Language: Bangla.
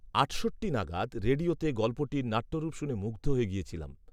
আটষট্টি নাগাদ রেডিয়োতে গল্পটির নাট্যরূপ শুনে মুগ্ধ হয়ে গিয়েছিলাম